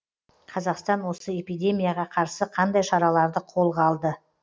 қазақстан осы эпидемияға қарсы қандай шараларды қолға алды